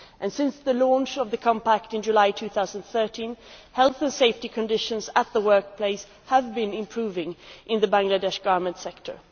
Since the launch of the Compact in July 2013, health and safety conditions at the workplace have been improving in the Bangladesh garment sector.